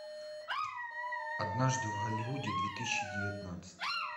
однажды в голливуде две тысячи девятнадцать